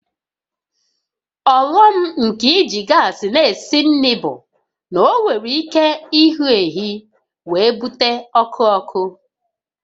Ọghọm nke iji gas na-esi nri bụ na ọ nwere ike ịhụ ehi wee bute ọkụ ọkụ